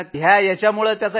तर त्याची परिक्षा होती